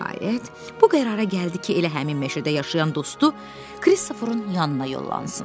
Nəhayət, bu qərara gəldi ki, elə həmin meşədə yaşayan dostu Kristoferin yanına yollansın.